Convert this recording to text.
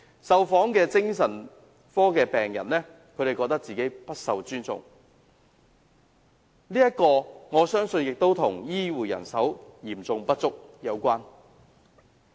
受訪的精神科病人自覺不被尊重，我相信這與醫護人手嚴重不足有關。